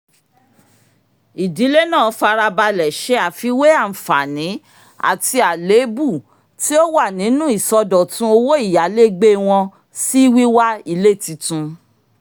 ìdílé náà farabalẹ̀ ṣe àfiwé anfààní àti àlébù tí ó wà nínú ìsọdọ̀tun owó ìyálégbé wọn sí wíwá ilé tuntun